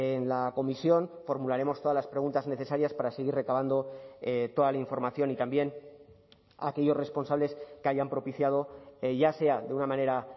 en la comisión formularemos todas las preguntas necesarias para seguir recabando toda la información y también a aquellos responsables que hayan propiciado ya sea de una manera